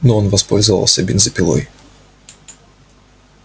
но он воспользовался бензопилой